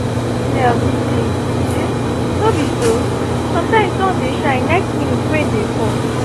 weather don dey change anyhow these days no be so? sometimes sun dey shine next minute rain dey fall